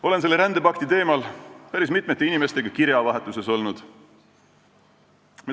Olen rändepakti teemal päris mitme inimesega kirjavahetuses olnud.